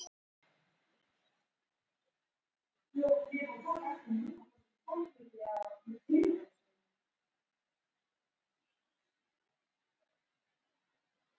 Hersir: Ertu bara að fara að sofa eða hvað er málið?